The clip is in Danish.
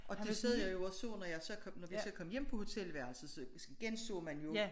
Og det sad jeg jo og så når jeg så kom når vi så kom hjem på hotelværelset så genså man jo